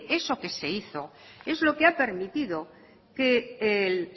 eso que se hizo es lo que ha permitido que el